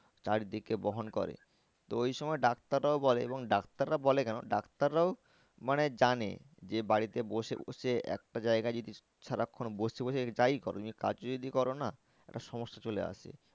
চারি দিকে বহন করে তো ওই সময় ডাক্তাররাও বলে এবং ডাক্তাররা বলে কেন ডাক্তাররাও মানে জানে যে বাড়িতে বসে বসে একটা জায়গায় যদি সারাক্ষন বসে বসে যাই করো তুমি কাজও যদি করো না একটা সমস্যা চলে আসে।